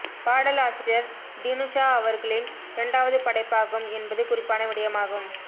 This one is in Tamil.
பாடல் ஆசிரியர் டினுஷா அவர்களின் இரண்டாவது படைப்பாகும் என்பது குறிப்பான விடயமாகும்